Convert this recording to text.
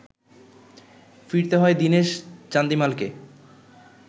ফিরতে হয় দীনেশ চান্দিমালকে